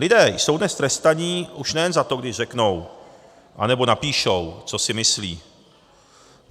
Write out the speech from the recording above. Lidé jsou dnes trestaní už nejen za to, když řeknou nebo napíšou, co si myslí.